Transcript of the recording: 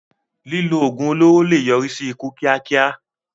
Lílo oògùn olóró lè yọrí sí ikú kíákíá.